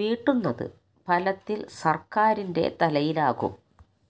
വീട്ടുന്നത് ഫലത്തിൽ സർക്കാരിന്റെ തലയിലാകും